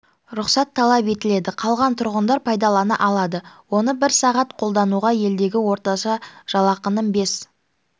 рұқсат талап етіледі қалған тұрғындар пайдалана алады оны бір сағат қолдануға елдегі орташа жалақының бес